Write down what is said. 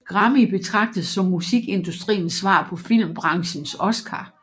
Grammy betragtes som musikindustriens svar på filmbranchens Oscar